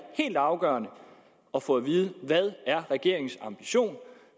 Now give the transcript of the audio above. helt afgørende at få at vide hvad er regeringens ambition